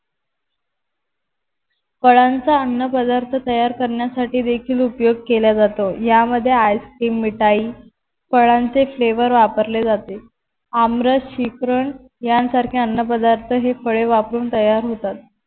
फळांचा अन्नपदार्थ तयार करण्यासाठी देखील उपयोग केला जातो या मध्ये Ice cream मिठाई फळांचे Flavour वापरले जाते. आमरास शिकरन यांसारखे अन्न पदार्थ हे फळे वापरुन तयार होतात